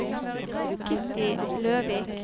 Kitty Løvik